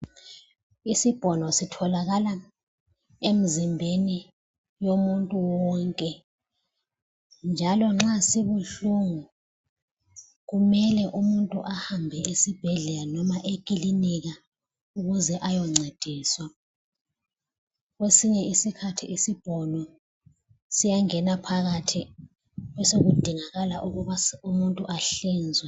Isibhono sitholakala emzimbeni womuntu wonke njalo nxa sibuhlungu kumele umuntu ahambe esibhedlela noma ekilinika ukuze ayoncediswa . Kwesinye isikhathi isibhono siyangena phakathi besekudingakala ukuba umuntu ahlinzwe .